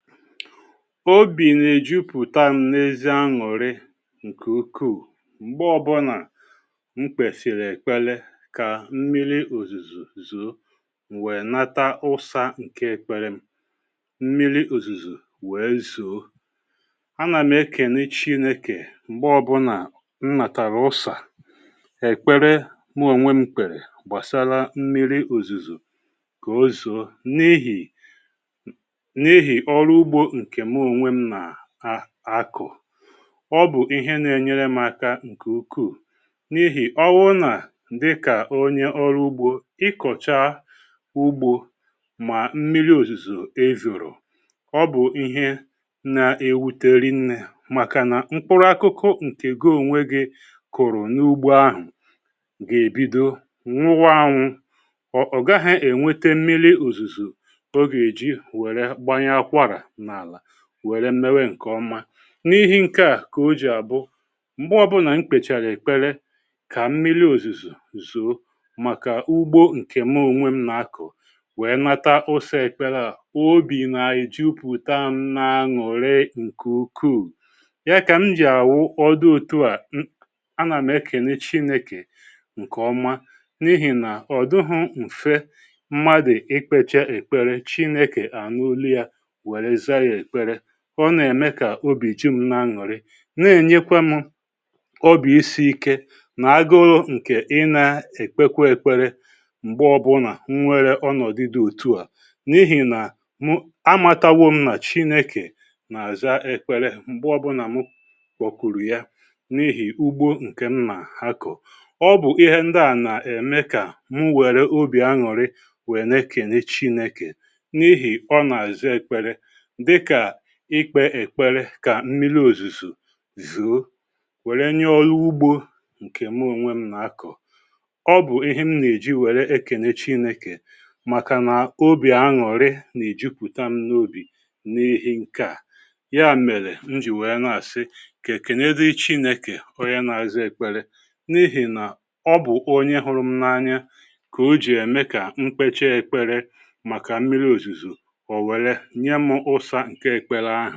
Ọbì na-ejụpụ̀tam na ezi añụ̀rị nke ụkwụù mgbe ọbụna m kpesìrì ekpele ka mmiri ọ̀zùzù zọ my nwee nata ụsa nke ekpere m, m̀miri ọ̀zùzù wee zọ. Ana m ekene Chịneke m̀gbe ọbụna m natara ụsa ekpere m ọ̀nwe m kpere gbasara m̀miri ọ̀zùzù ka ọ zọ n’ihì, n'ihi oru ụgbọ nke mụ ọnwe m na a akọ. Ọ bụ̀ ihe na-enyere m aka nke ụkwụù n’ihì ọwụ na dịka ọnye ọrụ ụgbọ, ịkọ̀cha ụgbọ ma mmi̇ri ọ̀zùzọ̀ e zọrọ̀, ọ bụ̀ ihe na-ewụte ri nne makana mkpụrụ akụkụ nke gi ọ̀nwe gị kụ̀rụ̀ n’ụgbọ ahụ̀ ga-ebidọ ṅwụwa anwụ̇ ọ̀ ọ̀ gaghị̇ enwete mmi̇ri ọ̀zùzọ̀ ọ ga-eji were gbanya akwara n'ala were mewe nke ọma. N’ihi nke a ka ọ jì abụ, m̀gbe ọbụna mkpecha n’ekpere ka mmili ọ̀zìzọ̀ zọ̀ọ maka ụgbọ nke mụ ọ̀nwe m na akụ̀ wee nata ụsa ekpere a, ọbì na ejụpụ̀ta m na añuri nke ụkwụù. Ya ka m jì awụ ọdụ ọ̀tùa m, a na m ekene Chineke nke ọma n’ihì na ọ̀ dụghọ nfe mmadụ̀ ịkpecha ekpere chineke aṅụ ọlụ were zaa ya ekpere. Ọ na-eme ka ọbì jin na-aṅụrị na-enyekwa m ọbi isi ike na agụụ nke ị na-ekpekwa ekwere m̀gbe ọbụna nnwere ọ nọ̀dụ̀ dị ọ̀tụ a. N’ihì na m amatawọ m na chineke na-aza ekpere m̀gbe ọbụna m mkpọkụrụ ya n’ihì ụgbọ nke m na-akọ. Ọ bụ̀ ihe ndị a na-eme ka m nwere ọbì aṅụ̀rị wee n'ekene Chineke n’ihì ọ na-aza ekpere dịka ikpe ekpere ka mmiri ọ̀zùzọ̀ zọọ were nye ọlụ ụgbọ nke mụọ nwe m na-akọ̀. Ọ bù ihe m na-eji were ekene Chineke maka na ọbì aṅụ̀rị na ejụpùta m n’ọbì n’ihì nkea ya mele m jì wee na-asị ka ekele dịri Chineke ọnye n'aza ekpere, n'ihi na ọ bụ n’ihì na ọ bù ọnye hụrụ m n’anya ka ọ jì eme ka m kpecha ekpere maka mmiri ọ̀zùzọ̀ ọ̀ were nyem ụsa nke ekpele ahụ